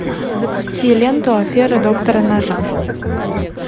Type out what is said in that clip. запусти ленту афера доктора нока